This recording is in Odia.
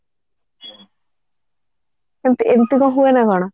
ସେମିତି ଏମିତି କଣ ହବ ନା କଣ